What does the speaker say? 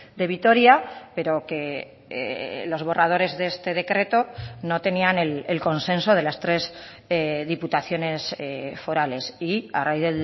de vitoria pero que los borradores de este decreto no tenían el consenso de las tres diputaciones forales y a raíz